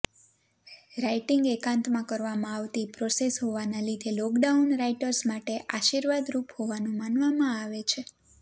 writing એકાંતમાં કરવામાં આવતી પ્રોસેસ હોવાના લીધે લોકડાઉન રાઇટર્સ માટે આશીર્વાદરૂપ હોવાનું માનવામાં આવે છે